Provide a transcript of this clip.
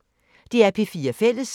DR P4 Fælles